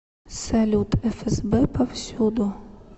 салют фсб повсюду